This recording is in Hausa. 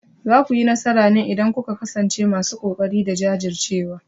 Za ku yi nasara ne idan kuka kasance masu kokari da jajircewa.